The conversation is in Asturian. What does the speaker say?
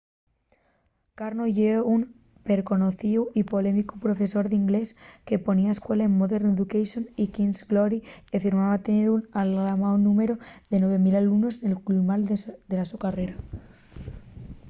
karno ye un perconocíu y polémicu profesor d’inglés que ponía escuela en modern education y king’s glory y afirmaba tener algamao’l númberu de 9.000 alumnos nel cumal de la so carrera